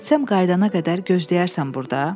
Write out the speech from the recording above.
Getsəm qayıdana qədər gözləyərsən burda.